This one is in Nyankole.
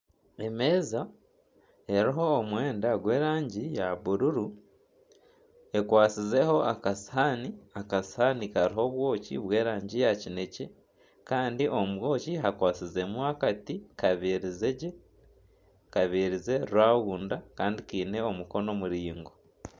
Emeeza eriho omwenda gw'erangi ya bururu ekwatsizeho aka sihaani. Aka sihaani kariho obwoki bw'erangi ya kinekye kandi omu bwoki hakwatsize mu akati kabizire gye, kabizire rawunda kandi kiine omukono muringwa.